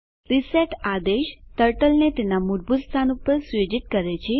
reset આદેશ turtle ને તેના મૂળભૂત સ્થાન પર સુયોજિત કરે છે